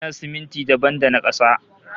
Magina siminti dabam da na kasa